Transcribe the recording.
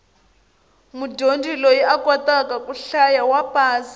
mudyondzi loyi a kotaka ku hlaya wa pasa